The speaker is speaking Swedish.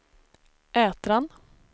Ätran